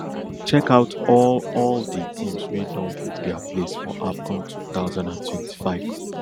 check out all all di teams wey don book dia place for afcon two thousand and twenty-five